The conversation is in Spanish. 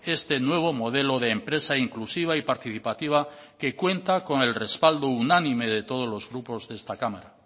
este nuevo modelo de empresa inclusiva y participativa que cuenta con el respaldo unánime de todos los grupos de esta cámara